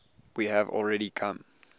we have already come